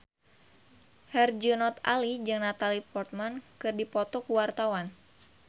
Herjunot Ali jeung Natalie Portman keur dipoto ku wartawan